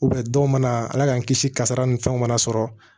dɔw mana ala k'an kisi kasara ni fɛnw mana sɔrɔ